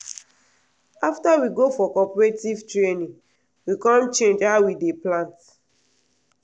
after we go for cooperative training we com change how we dey plant.